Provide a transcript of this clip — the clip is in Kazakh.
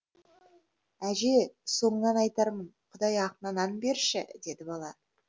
әже соңынан айтармын құдай ақына нан берші деді бала